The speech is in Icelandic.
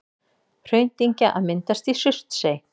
Hraundyngja að myndast í Surtsey.